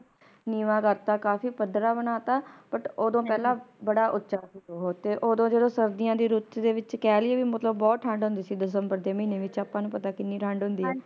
ਨੀਵਾਂ ਕਰਤਾ ਤਾ ਕਾਫੀ ਪੱਧਰਾ ਬਣਾ ਤਾ But ਓਦੋ ਪਹਿਲਾ ਬੜਾ ਉਚਾ ਸੀ ਬਹੁਤ ਤੇ ਓਦੋ ਜਦੋ ਸਰਦੀਆਂ ਦੀ ਰੁੱਤ ਦੇ ਵਿੱਚ ਕਹਿ ਲਈਏ ਮਤਲਬ ਬਹੁਤ ਠੰਡ ਹੁੰਦੀ ਸੀ ਦਸੰਬਰ ਦੇ ਮਹੀਨੇ ਵਿੱਚ ਆਪਾ ਨੂੰ ਪਤਾ ਕਿੰਨੀ ਠੰਡ ਹੁੰਦੀ ਆ